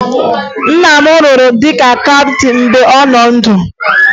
Nna m rụrụ dịka kaptịn mgbe ọ nọ ndụ